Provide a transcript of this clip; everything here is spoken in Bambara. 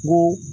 Ko